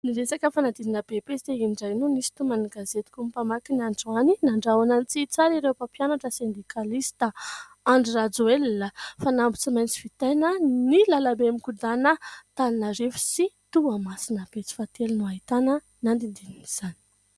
Ny resaka fanadinana "BEPC" indray noho nisy toman'ny gazetiko ny mpamaky ny androany: "nandrahona ny tsy hitsara ireo mpampianatra sendikalista". Andry Rajoelina: "fanamby tsy maintsy vitaina ny lalam-be mikodana Antananarivo sy toamasina" pejy fahatelo no nahitany ny adinin'izany.